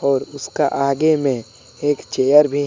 और उसका आगे में एक चेयर भी है।